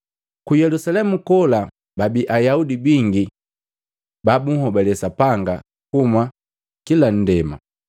Ku Yelusalemu kola babi Ayaudi bingi ba bunhobale Sapanga kuhuma kila ndema.